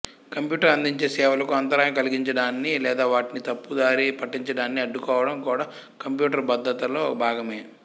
computer అందించే సేవలకు అంతరాయం కలిగించడాన్ని లేదా వాటిని తప్పుదారి పట్టించడాన్ని అడ్డుకోవడం కూడా కంప్యూటర్ భద్రతలో భాగమే